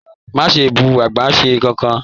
Má ṣe bú agbasẹ́se kánkan!